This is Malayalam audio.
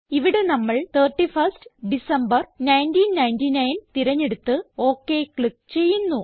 ഇവിടെ നമ്മൾ 31 ഡെക്ക് 1999 തിരഞ്ഞെടുത്ത് ഒക് ക്ലിക്ക് ചെയ്യുന്നു